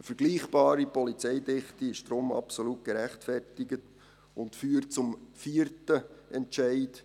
Eine vergleichbare Polizeidichte ist deshalb absolut gerechtfertigt und führt zum vierten Entscheid: